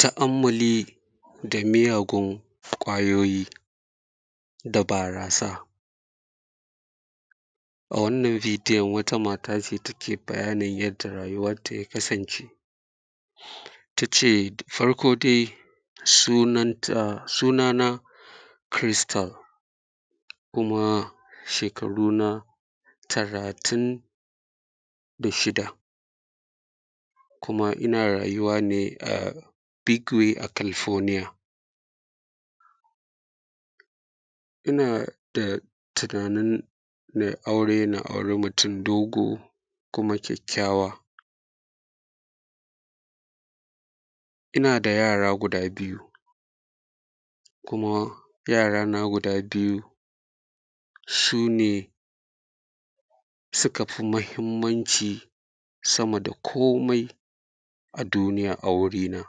tu'ammuli da miyagun ƙwayoyi da barasa a wannan bidiyon wata mata ce ta ke bayanin yadda rayuwanta ya kasance ta ce farko dai sunana crystal kuma shekaruna talatin da shida kuma ina rayuwa ne a big way a california ina da tunanin nai aure na auri mutum dogo kuma kyakyawa ina da yara guda biyu kuma yarana guda biyu sune suka fi muhimmanci sama da komai a duniya a guri na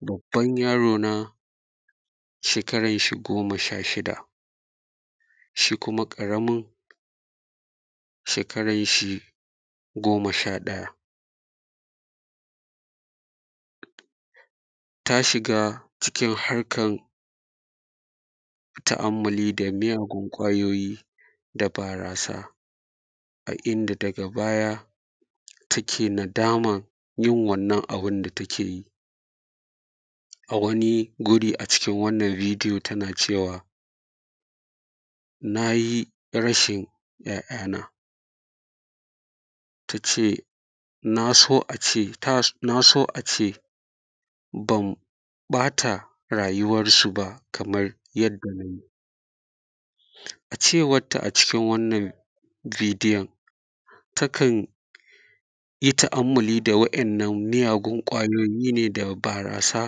babban yaro na shekaran shi goma sha shida shi kuma ƙaramin shekaran shi goma sha ɗaya ta shiga cikin harkan tu'ammuli da miyagun ƙwayoyi da barasa a inda daga baya take nadaman yin wannan abun da ta ke yi a wani guri a cikin wannan bidiyo ta na cewa na yi rashin ‘ya; ya na ta ce na so a ce ban ɓata rayuwan su ba kamar yanda na yi cewar ta a cikin wannan bidiyon takan yi tu'ammuli da miyagun ƙwayoyi ne da barasa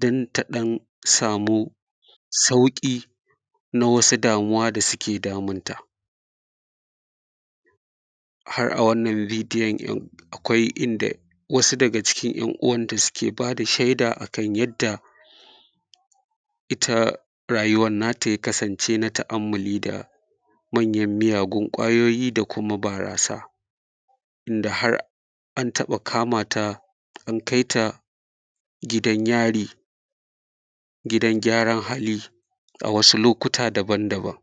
ɗin ta don samu sauƙi na wasu damuwa da suke damunta har a wannan bidiyon akwai inda wasu daga cikin ‘yan uwanta suke ba da sheda akan yadda ita rayuwan na ta ya kasance na ta'ammuli da manyan miyagun ƙwayoyi da kuma barasa inda har an taɓa kamata an kai ta gidan yari gidan gyaran hali a wasu lokuta daban daban